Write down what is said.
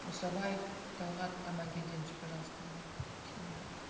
мұсабаев талғат амангельдинович пожалуйста вам слово